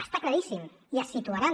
està claríssim i es situaran